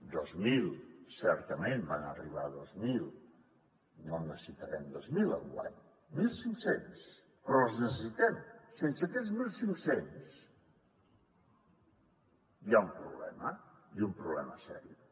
dos mil certament en van arribar dos mil no en necessitarem dos mil enguany mil cinc cents però els necessitem sense aquests mil cinc cents hi ha un problema i un problema sèrio